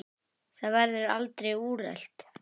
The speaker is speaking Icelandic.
Það verður aldrei úrelt.